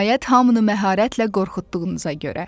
Nəhayət, hamını məharətlə qorxutduğunuza görə.